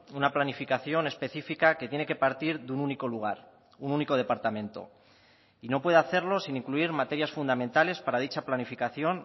una planificación específica que tiene que partir de un único lugar un único departamento y no puede hacerlo sin incluir materias fundamentales para dicha planificación